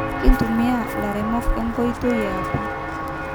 Kitumia ilaremok enkoitoi e apa